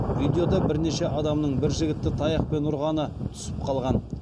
видеода бірнеше адамның бір жігітті таяқпен ұрғаны түсіп қалған